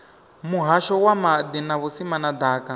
muhasho wa maḓi na vhusimama ḓaka